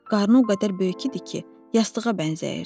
Qarnı o qədər böyük idi ki, yastığa bənzəyirdi.